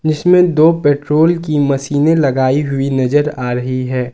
इसमें दो पेट्रोल की मशीनें लगाई हुई नजर आ रहीं हैं।